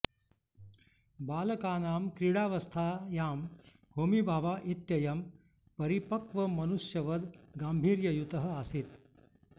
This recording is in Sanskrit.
बालकानां क्रीडावस्थायां होमी भाभा इत्ययं परिपक्वमनुष्यवद् गाम्भीर्ययुतः आसीत्